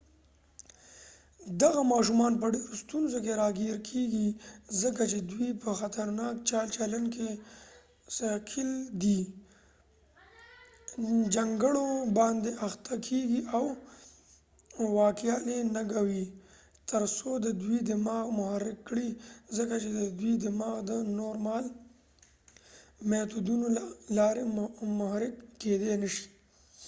دغه ماشومان په ډیرو ستونزو کې راګیر کیږي ځکه چې دوی په خطرناکه چال چلند کې ښکیل دي جنګړو باندې اخته کیږي او واکیالی ننګوي ترڅو د دوی دماغ محرک کړي ځکه چې د دوی دماغ د نورمال میتودونو له لارې محرک کیدی نشي